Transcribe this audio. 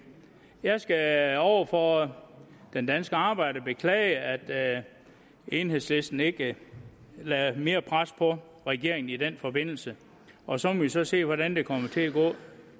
jeg skal over for den danske arbejder beklage at enhedslisten ikke lagde mere pres på regeringen i den forbindelse og så må vi så se hvordan det kommer til at gå